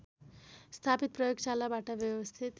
स्थापित प्रयोगशालाबाट व्यवस्थित